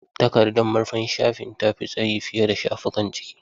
Takardar murfin shafi ta fi tsayi fiye da shafukan ciki.